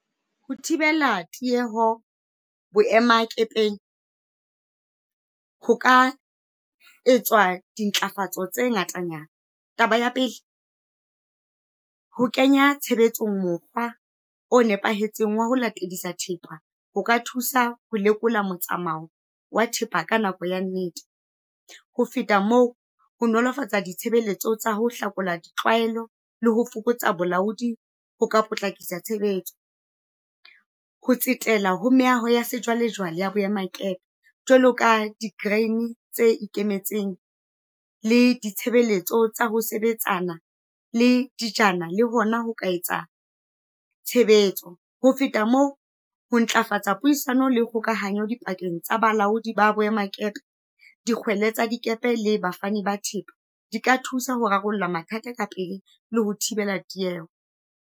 Ho thibela tieho boemakepeng ho ka etswa dintlafatso tse ngatanyana. Taba ya pele, ho kenya tshebetsong mokgwa o nepahetseng wa ho latedisa thepa ho ka thusa ho lekola motsamao wa thepa ka nako ya nnete. Ho feta mo, ho nolofatsa ditshebeletso tsa ho hlakola ditlwaelo le ho fokotsa bolaodi ho ka potlakisa tshebetso. Ho tsetela ho meaho ya sejwale-jwale ya boemakepe, jwalo ka di tse ikemetseng, le ditshebeletso tsa ho sebetsana le dijana, le hona ho ka etsa tshebetso. Ho feta mo, ho ntlafatsa puisano le kgokahanyo dipakeng tsa balaodi ba boemakepe, dikgweli tsa dikepe le bafani ba thepa, di ka thusa ho rarolla mathata ka pele le ho thibela tieho.